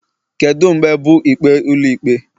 Kedu mgbe bụ ikpe Ụlọikpe?